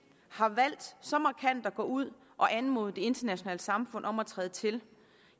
har valgt så markant at gå ud og anmode det internationale samfund om at træde til